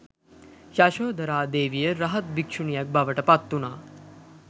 යශෝදරා දේවිය රහත් භික්ෂුණියක් බවට පත්වුනා.